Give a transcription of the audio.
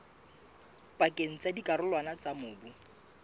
pakeng tsa dikarolwana tsa mobu